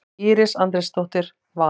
Íris Andrésdóttir, Valur.